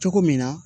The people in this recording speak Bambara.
Cogo min na